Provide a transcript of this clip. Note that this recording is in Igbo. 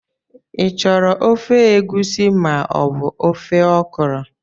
Ị chọrọ ofe egusi ma ọ bụ ofe okra?.